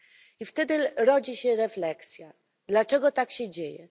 I wtedy rodzi się refleksja dlaczego tak się dzieje?